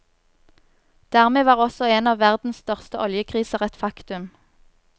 Dermed var også en av verdens største oljekriser et faktum.